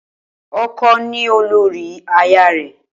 O̩ko̩ ni olórí aya rè̩